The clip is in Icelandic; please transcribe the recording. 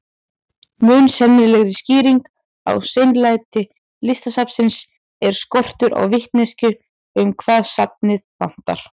Mun sennilegri skýring á seinlæti Listasafnsins er skortur á vitneskju um hvað safnið vantar.